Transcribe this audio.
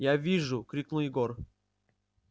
я вижу крикнул егор